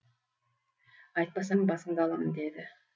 айтпасаң басынды аламын деді